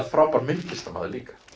frábær myndlistarmaður líka